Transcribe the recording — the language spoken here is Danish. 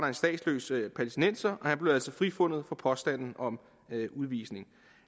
en statsløs palæstinenser og han blev altså frifundet for påstanden om udvisning